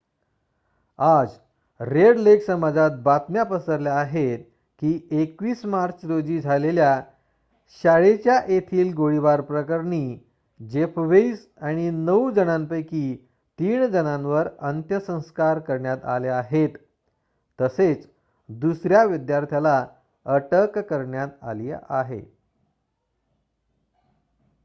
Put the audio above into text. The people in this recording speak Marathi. आज रेड लेक समाजात बातम्या पसरल्या आहेत की 21 मार्च रोजी झालेल्या शाळेच्या येथील गोळीबार प्रकरणी जेफ वेइस आणि नऊ जणांपैकी तीन जणांवर अंत्यसंस्कार करण्यात आले आहेत तसेच दुसर्‍या विद्यार्थ्याला अटक करण्यात आली आहे